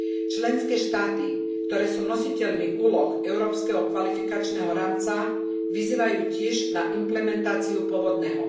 Členské štáty, ktoré sú nositeľmi úloh Európskeho kvalifikačného rámca, vyzývajú tiež na implementáciu pôvodného.